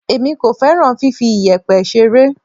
Èmi kò fẹ́ràn fifi iyẹ̀pẹ̀ ṣeré.